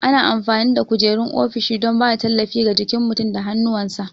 Ana amfani da kujerun ofishi don ba da tallafi ga jikin mutum da hannuwansa.